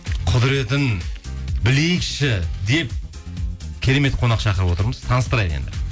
құдіретін білейікші деп керемет қонақ шақырып отырмыз таныстырайық енді